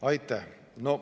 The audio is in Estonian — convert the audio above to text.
Aitäh!